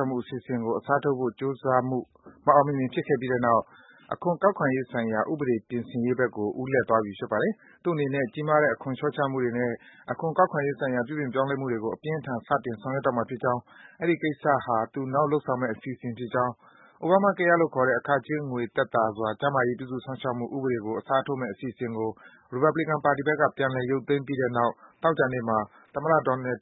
က်မှု အစီအစဉ်ကို အစားထိုးဖို့ ကြိုးစားမှု မအောင်မမြင် ဖြစ်ခဲ့ပြီးတဲ့နောက် အခွန်ကောက်ခံရေးဆိုင်ရာ ဥပဒေ ပြင်ဆင်ရေးဘက်ကို ဦးလှည့်သွားပြီ ဖြစ်ပါတယ်။ သူတို့အနေနဲ့ကြီးမားတဲ့ အခွန်လျော့ချမှုတွေနဲ့ အခွန်ကောက်ခံရေးဆိုင်ရာ ပြုပြင်ပြောင်းလဲ မှုတွေကို အပြင်းအထန် စတင် ဆောင်ရွက်တော့မှာ ဖြစ်ကြောင်း၊ အဲဒီကိစ္စဟာ သူ နောက်လုပ်ဆောင်မယ့် အစီအစဉ်ဖြစ်ကြောင်း - Obamacare လို့ခေါ်တဲ့ အခကြေးငွေ သက်သာစွာ ကျန်းမာရေး ပြုစု စောင့်ရှောက်မှုဥပဒေကို အစားထိုးမယ့် အစီအစဉ်ကို ရီပတ်ဘလီကန် ပါတီဘက်က ပြန်လည် ရုပ်သိမ်းပြီးတဲ့နောက် သော ကြာနေ့မှာ သမ္မတ